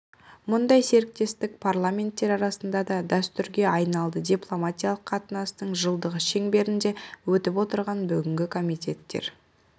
мұндай серіктестік парламенттер арасында да дәстүрге айналды дипломатиялық қатынастың жылдығы шеңберінде өтіп отырған бүгінгі комитеттер